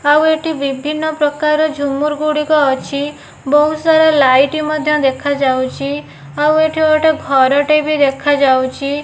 ଆଉ ଏଠି ବିଭିନ୍ନ ପ୍ରକାର ଝୁମୁରୁ ଗୁଡ଼ିକ ଅଛି। ବହୁତ ସାରା ଲାଇଟ୍ ମଧ୍ୟ ଦେଖାଯାଉଚି। ଆଉ ଏଠି ଗୋଟେ ଘରଟେ ବି ଦେଖାଯାଉଛି।